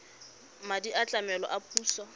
madi a tlamelo a puso